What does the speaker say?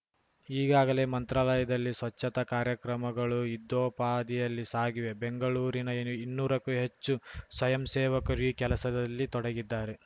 ಈಗಾಗಲೇ ಮಂತ್ರಾಲಯದಲ್ಲಿ ಸ್ವಚ್ಛತಾ ಕಾರ್ಯಕ್ರಮಗಳು ಯುದ್ಧೋಪಾದಿಯಲ್ಲಿ ಸಾಗಿವೆ ಬೆಂಗಳೂರಿನ ಇನ್ನೂರಕ್ಕೂ ಹೆಚ್ಚು ಸ್ವಯಂಸೇವಕರು ಈ ಕೆಲಸದಲ್ಲಿ ತೊಡಗಿದ್ದಾರೆ